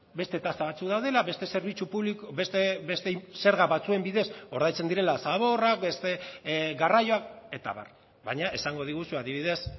beste tasa batzuk daudela beste zerbitzu publiko beste zerga batzuen bidez ordaintzen direla zaborrak beste garraioak eta abar baina esango diguzu adibidez